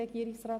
Regierungsrat